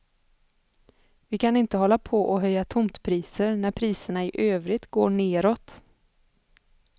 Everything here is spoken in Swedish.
Vi kan inte hålla på och höja tomtpriser när priserna i övrigt går nedåt.